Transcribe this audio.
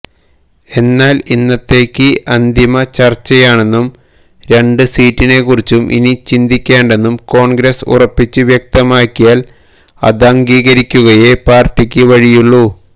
എന്നാല് ഇന്നത്തേത് അന്തിമ ചര്ച്ചയാണെന്നും രണ്ട് സീറ്റിനെക്കുറിച്ച് ഇനി ചിന്തിക്കേണ്ടെന്നും കോണ്ഗ്രസ്സ് ഉറപ്പിച്ച് വ്യക്തമാക്കിയാല് അതംഗീകരിക്കുകയേ പാര്ട്ടിക്ക് വഴിയുള്ളൂ